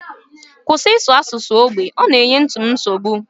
Kwụsị ịsụ asụsụ ógbè! Ọ na-enye nti m nsogbu